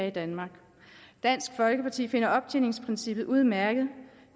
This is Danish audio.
i danmark dansk folkeparti finder optjeningsprincippet udmærket